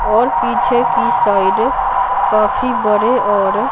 और पीछे की साइड काफी बड़े और --